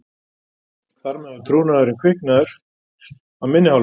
Þar með var trúnaðurinn kviknaður af minni hálfu.